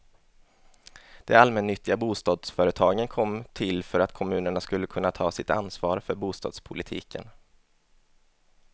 De allmännyttiga bostadsföretagen kom till för att kommunerna skulle kunna ta sitt ansvar för bostadspolitiken.